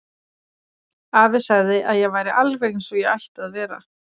Afi sagði að ég væri alveg eins og ég ætti að vera.